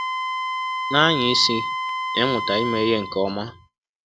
Na-anya isi n’ịmụta ime ihe nke ọma.